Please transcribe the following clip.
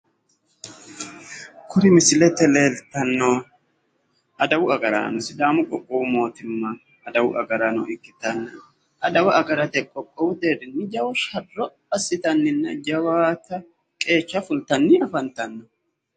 Kuri misilete leeltanno adawu agaraano sidaamu qoqqowu mootimma adawu agraano ikkitanna adawa agrate qoqqowu deerrinni jawa sharro assitanninna jawaata qeecha fultanni lafantanno.